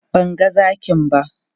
Ban ga zakin ba.